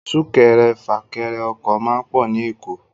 Súkẹrẹfà-kẹrẹ-ọkọ̀ máá ń pọ̀ ní Èkó